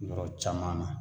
Yɔrɔ caman na